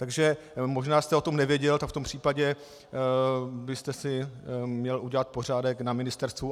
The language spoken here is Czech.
Takže možná jste o tom nevěděl, tak v tom případě byste si měl udělat pořádek na ministerstvu.